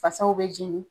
Fasaw bɛ jeni